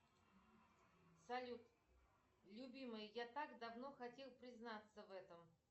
салют любимый я так давно хотел признаться в этом